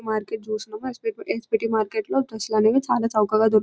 market చూసినపుడు SVT మార్కెట్లో డ్రెస్సులు అనేవి చాలా చౌకగా దొరుకు --